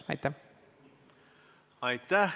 Aitäh!